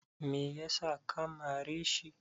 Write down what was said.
me yasa ka mare shi?